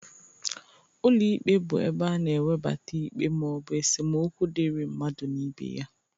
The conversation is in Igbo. Ụlọ ikpe bụ ebe a na-ewebata ikpe ma ọ bụ esemokwu dịri mmadụ na ibe ya.